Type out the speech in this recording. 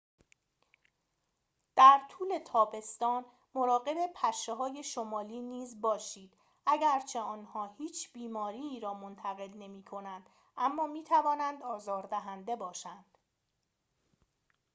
در طول تابستان مراقب پشه های شمالی نیز باشید اگرچه آنها هیچ بیماری‌ای را منتقل نمی کنند اما می توانند آزار دهنده باشند